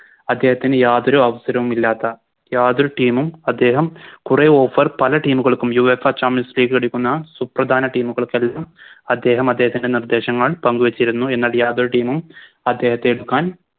അദ്ദേഹത്തിന് യാതൊരു അവസരവുമില്ലാത്ത യാതൊരു Team ഉം അദ്ദേഹം കുറെ Offer പല Team കൾക്കും Uefa champions league എടുക്കുന്ന സുപ്രധാന Team കൾക്കെല്ലാം അദ്ദേഹം അദ്ദേഹത്തിൻറെ നിർദ്ദേശങ്ങൾ പങ്കുവെച്ചിരുന്നു എന്നാൽ യാതൊരു Team ഉം അദ്ദേഹത്തെ എടുക്കാൻ